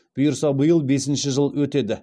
бұйырса биыл бесінші жыл өтеді